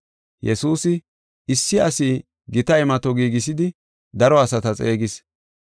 Yesuusi, “Issi asi gita imato giigisidi daro asata xeegis.